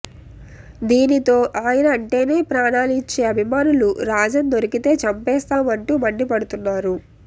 దీనితో ఆయన అంటేనే ప్రాణాలు ఇచ్చే అభిమానులు రాజన్ దొరికితే చంపేస్తాం అంటూ మండిపడుతున్నారు